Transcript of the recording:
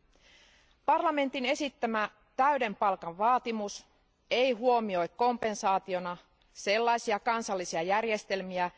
Euroopan parlamentin esittämä täyden palkan vaatimus ei huomioi kompensaationa sellaisia kansallisia järjestelmiä,